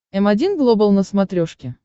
м один глобал на смотрешке